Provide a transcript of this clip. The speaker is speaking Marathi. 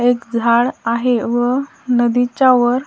एक झाड आहे व नदीच्या वर--